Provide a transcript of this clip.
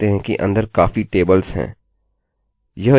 यह यहाँ पर चिह्न से दिखाया जा रहा है जब हम phpmyadmin इस्तेमाल करते हैं